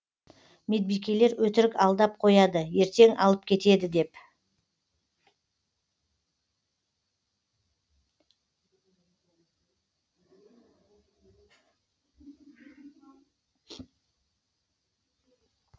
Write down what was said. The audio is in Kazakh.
медбикелер өтірік алдап қояды ертең алып кетеді деп